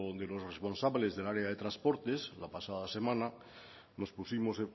de los responsables del área de transporte la pasada semana nos pusimos